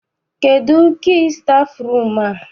Kedụ kii stafụrum a?